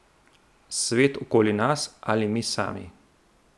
Svet okoli nas ali mi sami?